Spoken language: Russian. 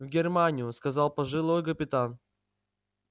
в германию сказал пожилой капитан